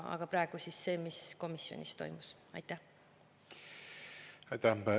Aga praegu, mis toimus komisjonis.